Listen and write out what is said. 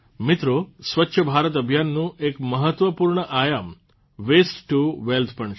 મિત્રો સ્વચ્છ ભારત અભિયાનનું એક મહત્વપૂર્ણ આયામ વેસ્ટ ટુ વેલ્થ પણ છે